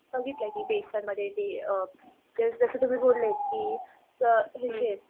बघितलं की मध्ये ते जसं तुम्ही बोललेत की ह्यांचे